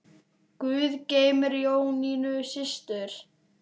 Guð geymi Jónínu systur.